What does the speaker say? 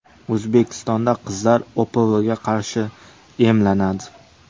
O‘zbekistonda qizlar OPVga qarshi emlanadi.